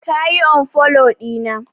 ka yi unfollow dina!